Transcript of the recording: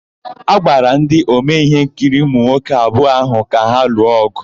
A gwara ndị omee íhénkiri ụmụnwoke abụọ áhụ̀ ka ha lụọ ọ̀gụ.